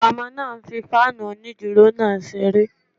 Ọmọ náà ń fí fáànù onídúró náà ṣeré